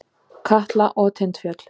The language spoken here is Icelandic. Katla og Tindfjöll.